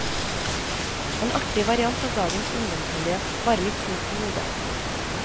En artig variant av dagens ungdomsmiljø, bare litt snudd på hodet.